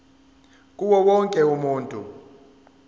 kuwo wonke umuntu